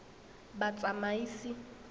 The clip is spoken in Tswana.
batsamaisi